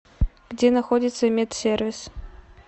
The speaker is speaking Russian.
где находится медсервис